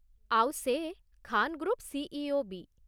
ଆଉ ସେ ଖାନ୍ ଗ୍ରୁପ୍ର ସି.ଇ.ଓ. ବି ।